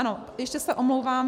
Ano, ještě se omlouvám.